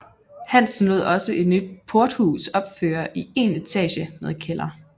Hansen lod også et nyt porthus opføre i én etage med kælder